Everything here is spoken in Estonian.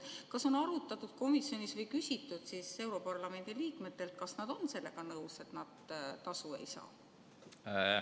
Kas on arutatud komisjonis või küsitud europarlamendi liikmetelt, kas nad on sellega nõus, et nad tasu ei saa?